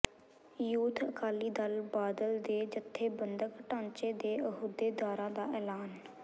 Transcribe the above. youth Akali Dal Badal ਦੇ ਜਥੇਬੰਧਕ ਢਾਂਚੇ ਦੇ ਅਹੁਦੇਦਾਰਾਂ ਦਾ ਐਲਾਨ